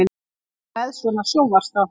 Hún er með svona sjónvarpsþátt.